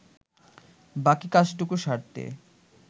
বাকি কাজটুকু সারতে